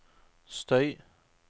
støy